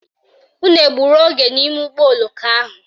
Unu egburu oge n'ime ụgbọoloko ahụ?